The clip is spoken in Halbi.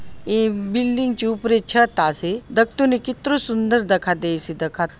ए बिल्डिंग जो ऊपरे छत आसे दखतो ने कितरो सुंदर दखा देयसे दखा --